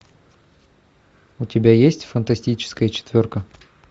у тебя есть фантастическая четверка